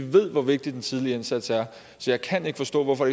ved hvor vigtig den tidlige indsats er så jeg kan ikke forstå hvorfor